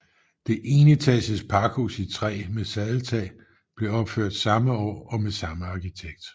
Det enetages pakhus i træ med sadeltag blev opført samme år og med samme arkitekt